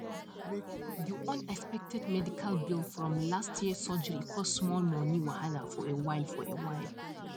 the unexpected medical bill from last year surgery cause small money wahala for a while for a while